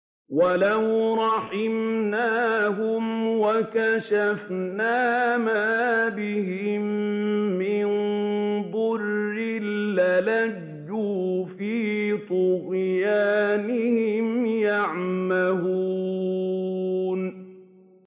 ۞ وَلَوْ رَحِمْنَاهُمْ وَكَشَفْنَا مَا بِهِم مِّن ضُرٍّ لَّلَجُّوا فِي طُغْيَانِهِمْ يَعْمَهُونَ